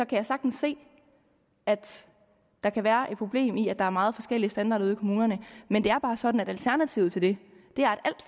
kan sagtens se at der kan være problemer i at der er meget forskellige standarder ude i kommunerne men det er bare sådan at alternativet til det er at